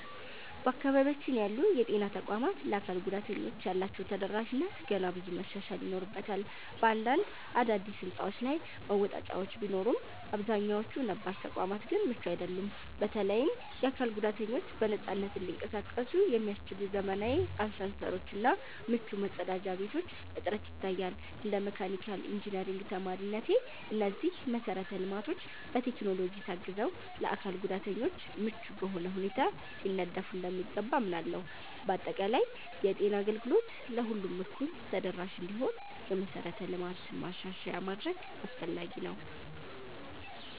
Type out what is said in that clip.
በአካባቢያችን ያሉ የጤና ተቋማት ለአካል ጉዳተኞች ያላቸው ተደራሽነት ገና ብዙ መሻሻል ይኖርበታል። በአንዳንድ አዳዲስ ሕንፃዎች ላይ መወጣጫዎች ቢኖሩም፣ አብዛኛዎቹ ነባር ተቋማት ግን ምቹ አይደሉም። በተለይም የአካል ጉዳተኞች በነፃነት እንዲንቀሳቀሱ የሚያስችሉ ዘመናዊ አሳንሰሮች እና ምቹ መጸዳጃ ቤቶች እጥረት ይታያል። እንደ መካኒካል ኢንጂነሪንግ ተማሪነቴ፣ እነዚህ መሰረተ ልማቶች በቴክኖሎጂ ታግዘው ለአካል ጉዳተኞች ምቹ በሆነ ሁኔታ ሊነደፉ እንደሚገባ አምናለሁ። በአጠቃላይ፣ የጤና አገልግሎት ለሁሉም እኩል ተደራሽ እንዲሆን የመሠረተ ልማት ማሻሻያ ማድረግ አስፈላጊ ነው።